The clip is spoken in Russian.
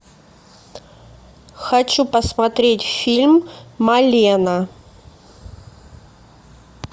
хочу посмотреть фильм малена